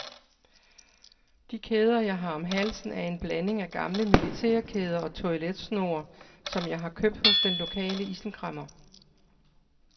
De kæder jeg har om halsen er en blanding af gamle militærkæder og toiletsnore, som jeg har købt hos den lokale isenkræmmer.